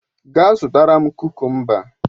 Gaa zụtara m kukumba!